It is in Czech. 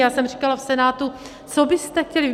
Já jsem říkala v Senátu, co byste chtěli?